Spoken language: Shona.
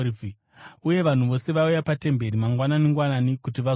uye vanhu vose vaiuya patemberi mangwanani-ngwanani kuti vazomunzwa.